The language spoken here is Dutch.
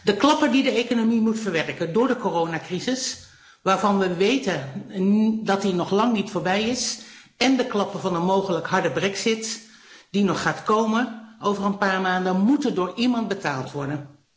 De klappen die de economie moet verwerken door de coronacrisis, waarvan we weten dat die nog lang niet voorbij is, en de klappen van een mogelijke harde brexit, die nog gaat komen over een paar maanden, moeten door iemand betaald worden.